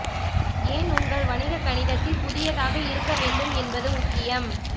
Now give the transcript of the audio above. ஏன் உங்கள் வணிக கணிதத்தில் புதியதாக இருக்க வேண்டும் என்பது முக்கியம்